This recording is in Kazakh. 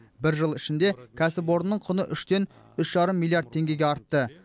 бір жыл ішінде кәсіпорынның құны үштен үш жарым миллиард теңгеге артты